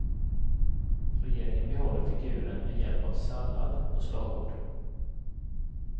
Regeringen behåller figuren med hjälp av sallad på slagord.